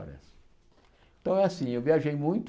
Parece então é assim, eu viajei muito,